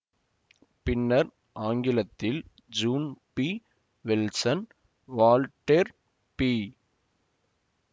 பின்னர் ஆங்கிலத்தில் June P Wilson Voltaire B